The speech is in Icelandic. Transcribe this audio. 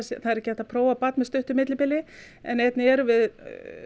það er ekki hægt að prófa barn með stuttu millibili en einnig erum við